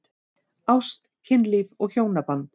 Ást, kynlíf og hjónaband